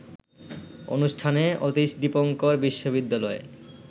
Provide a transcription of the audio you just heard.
অনুষ্ঠানে অতীশ দীপঙ্কর বিশ্ববিদ্যালয়ে